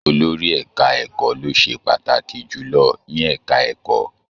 Olórí ẹka ẹ̀kọ́ lo se pàtàkì jùlọ ní ẹka ẹ̀kọ́.